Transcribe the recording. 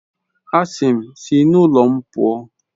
A sị m, si n'ụlọ m pụọ!